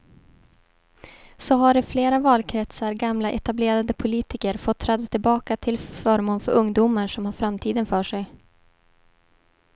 Så har i flera valkretsar gamla etablerade politiker fått träda tillbaka till förmån för ungdomar som har framtiden för sig.